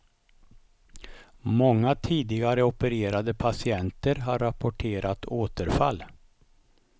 Många tidigare opererade patienter har rapporterat återfall.